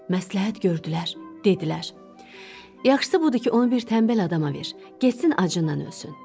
Məsləhət gördülər, dedilər: Yaxşısı budur ki, onu bir tənbəl adama ver, getsin acından ölsün.